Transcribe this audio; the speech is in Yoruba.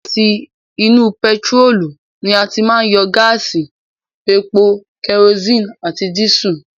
Láti inú pẹtiró ni a ti máa yọ gáásì, epo, kẹrosínì àti dísù.